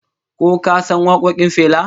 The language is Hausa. Ko ka san wakokin Fela?